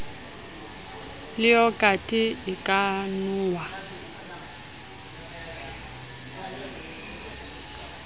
le yogathe e ka nwewa